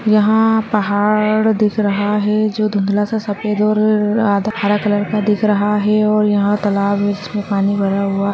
यहां पहाड़ दिख रहा है जो धुंदला सा सफ़ेद और आधा हरे कलर का दिख रहा है और यहां तालाब है जिसमे पानी भरा हुआ है।